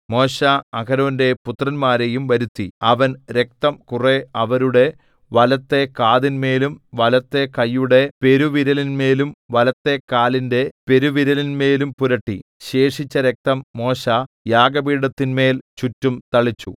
മോശെ അഹരോന്റെ പുത്രന്മാരെയും വരുത്തി അവൻ രക്തം കുറെ അവരുടെ വലത്തെ കാതിന്മേലും വലത്തെ കൈയുടെ പെരുവിരലിന്മേലും വലത്തെ കാലിന്റെ പെരുവിരലിന്മേലും പുരട്ടി ശേഷിച്ച രക്തം മോശെ യാഗപീഠത്തിന്മേൽ ചുറ്റും തളിച്ചു